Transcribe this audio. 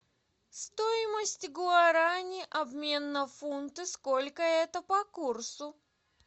стоимость гуарани обмен на фунты сколько это по курсу